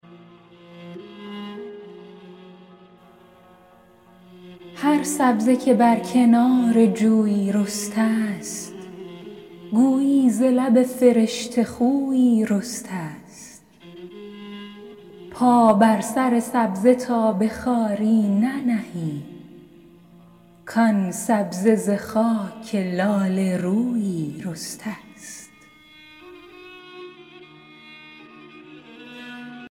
هر سبزه که بر کنار جویی رسته ست گویی ز لب فرشته خویی رسته ست پا بر سر سبزه تا به خواری ننهی کآن سبزه ز خاک لاله رویی رسته ست